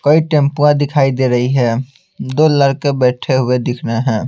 कोई टेपुआ दिखाई दे रही है दो लड़के बैठे हुए दिख रहे हैं।